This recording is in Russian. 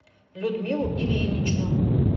людмилу ильиничну